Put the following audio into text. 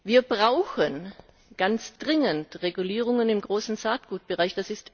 Wir brauchen ganz dringend Regulierung im großen Saatgutbereich.